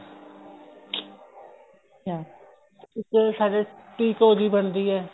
ਕਿਆ ਇੱਕ ਸਾਡੇ ਪੀਕੋ ਵੀ ਬਣਦੀ ਏ